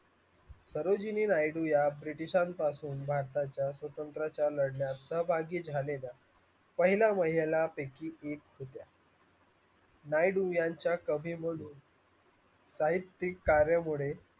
या british शान पासून भारताच्या स्वातंत्र्याच्या लढण्यात सहभागी झालेल्या पहिला महिला पैकी एक होत्या यांच्या सभेमधून कार्य मोडे